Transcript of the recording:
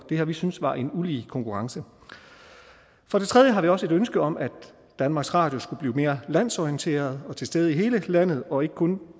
det har vi syntes var en ulige konkurrence for det tredje har vi også et ønske om at danmarks radio skal blive mere landsorienteret og være til stede i hele landet og ikke kun